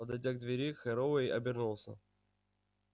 подойдя к двери херроуэй обернулся